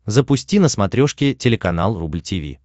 запусти на смотрешке телеканал рубль ти ви